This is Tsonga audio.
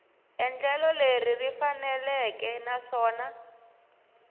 endlelo leri ri faneleke naswona